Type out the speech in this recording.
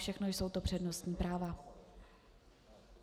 Všechno jsou to přednostní práva.